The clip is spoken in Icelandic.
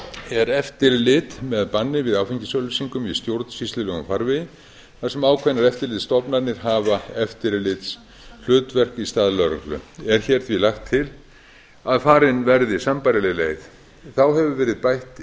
er eftirlit með banni við áfengisauglýsingum í stjórnsýslulegum farvegi þar sem ákveðnar eftirlitsstofnanir hafa eftirlitshlutverk í stað lögreglu er hér því lagt að farin verði sambærileg leið þá hefur verið bætt inn